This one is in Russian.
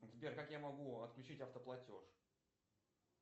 сбер как я могу отключить автоплатеж